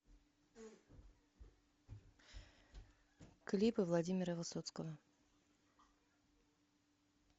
клипы владимира высоцкого